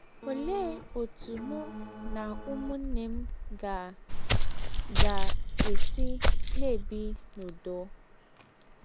Ọlee ọtụ mụ na ụmụnne m ga - ga - esi na - ebi n’ụdọ?